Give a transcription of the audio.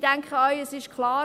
Ich denke, es ist klar: